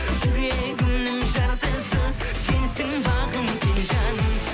жүрегімнің жартысы сенсің бағым сен жаным